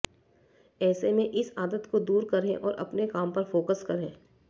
ऐसे में इस आदत को दूर करें और अपने काम पर फोकस करें